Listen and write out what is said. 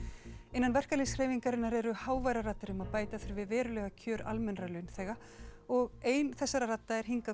innan verkalýðshreyfingarinnar eru háværar raddir um að bæta þurfi verulega kjör almennra launþega og ein þeirra er hingað